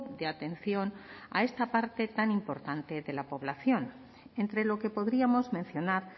de atención a esta parte tan importante de la población entre lo que podríamos mencionar